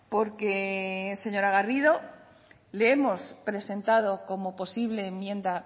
porque señora garrido le hemos presentado como posible enmienda